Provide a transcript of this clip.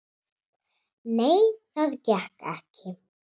"""Nei, það gekk ekki."""